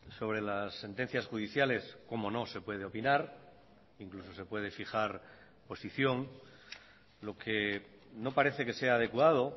sobre las sentencias judiciales cómo no se puede opinar incluso se puede fijar posición lo que no parece que sea adecuado